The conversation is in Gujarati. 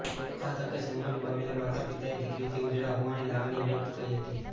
આ તકે સન્માન પામેલા માતાપિતાએ દિકરીથી ઉજળા હોવાની લાગણી વ્યક્ત કરી હતી